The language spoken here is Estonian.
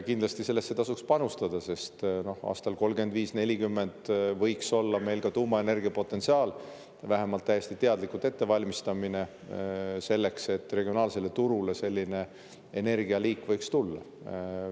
Kindlasti tasuks sellesse panustada, sest aastaiks 2035–2040 võiks meil olla ka tuumaenergia potentsiaal olemas, vähemalt võiksime täiesti teadlikult valmistuda selleks, et regionaalsele turule selline energialiik võiks tulla.